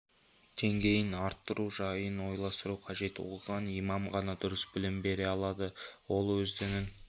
деңгейін арттыру жайын ойластыру қажет оқыған имам ғана дұрыс білім бере алады ол өз дінін